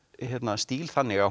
stíl þannig að